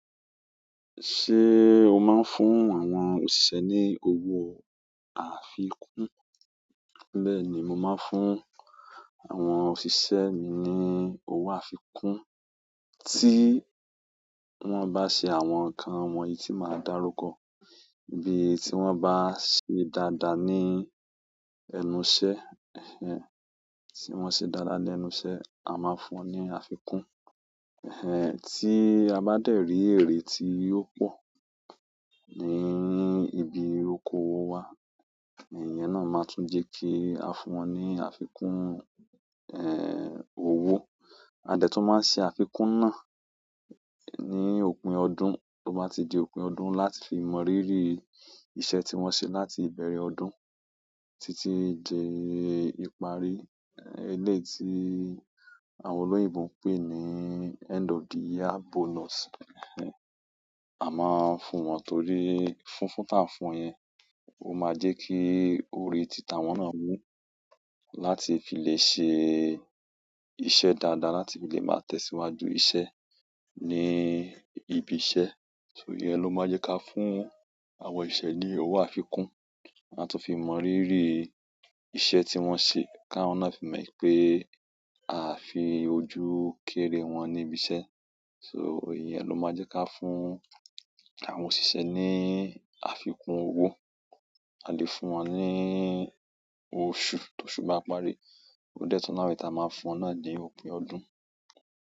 Ṣé o máa ń fún àwọn òṣìṣẹ́ ní owó àfikún? Bẹ́ẹ̀ ni, mo máa ń fún àwọn òṣìṣẹ́ mi ní owó àfikún, tí wọ́n bá ṣe àwọn nǹkan wọ̀nyí tí màá dàrúkọ. Bí i tí wọ́n bá ṣe dáadáa ní ẹnu iṣẹ́, ẹhn, tí wọ́n ṣe dáadáa lẹ́nu iṣẹ́, a máa fún wọn ní àfikún. Ẹhn, tí a bá dẹ̀ rí èrè tí ò pọ̀ ní, ní ibi oko owó wa, iyẹn náà máa tún jẹ́ kí a fún wọn ní àfikún, ẹhn, owó. A dẹ̀ tún máa ṣe àfikún náà ní òpin ọdún, to bá ti di òpin ọdún láti fi mọ̀ríri iṣẹ́ tí wọ́n ṣe láti ìbẹ̀rẹ̀ ọdún títí di ìparí, ẹ eleyi tii àwọn oloyinbo ń pè ní end of the year bonus, ẹhn. A máa ń fún wọn torí fúnfún tí à ń fún yẹn, ó máa jẹ́ kí orí títa wọ́n náà wú láti fi lè ṣe iṣẹ́ dáadáa láti fi lè máa tẹ̀síwájú iṣẹ́ ní ibi iṣẹ́. So, ìyẹn ló máa jẹ́ ká fún àwọn òṣìṣẹ́ ní owó àfikún, láti fi mọ̀ríri iṣẹ́ tí wọ́n ṣe, ká wọ́n náà fi mọ̀ pé a fi ojú kéré wọn ní ibi iṣẹ́. So, ìyẹn ló máa jẹ́ ká fún àwọn òṣìṣẹ́ ní àfikún owó. A lè fún wọn ní oṣù, tó oṣù bá parí. Ó dẹ̀ tún lawọn èyí taa máa n fún wọn náà ni òpin ọdún.